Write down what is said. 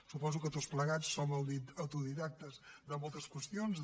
suposo que tots plegats som autodidactes de moltes qüestions